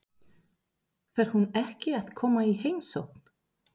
Fer hún ekki að koma í heimsókn?